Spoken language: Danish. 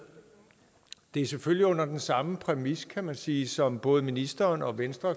det er selvfølgelig under den samme præmis kan man sige som både ministeren og venstre